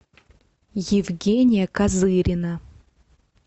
евгения козырина